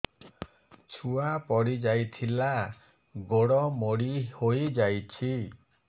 ଛୁଆ ପଡିଯାଇଥିଲା ଗୋଡ ମୋଡ଼ି ହୋଇଯାଇଛି